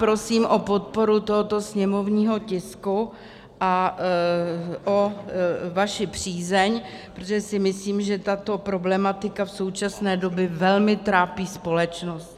Prosím o podporu tohoto sněmovního tisku a o vaši přízeň, protože si myslím, že tato problematika v současné době velmi trápí společnost.